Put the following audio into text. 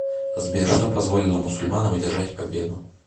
сбер что позволило мусульманам одержать победу